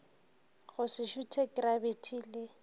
go se šuthe krabiti le